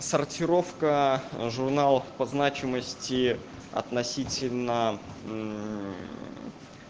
сортировка журналов по значимости относительно